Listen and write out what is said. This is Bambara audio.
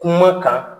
Kuma kan